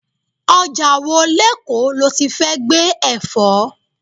Ọjà wo lekoo loti fẹ́ gbé Ẹ̀fọ́?